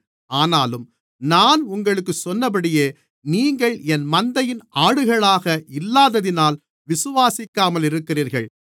ஆனாலும் நான் உங்களுக்குச் சொன்னபடியே நீங்கள் என் மந்தையின் ஆடுகளாக இல்லாததினால் விசுவாசிக்காமல் இருக்கிறீர்கள்